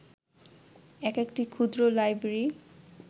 এক একটি ক্ষুদ্র লাইব্রেরী